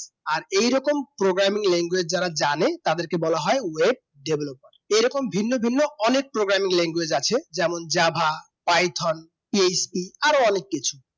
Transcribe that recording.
আর এই রকম Programming language যারা যানেই তাদের কে বলা হয় Web developer এই রকম ভিন্ন ভিন্ন অনেক Programming language আছেন যেমন জাভা পাইথন chd আরো অনেক কিছু